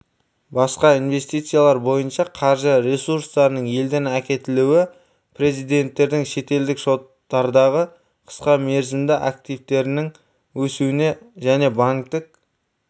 басқа инвестициялар бойынша қаржы ресурстарының елден әкетілуі резиденттердің шетелдік шоттардағы қысқа мерзімді активтерінің өсуіне және банктік